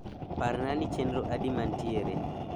parna ni chenro adi mantiere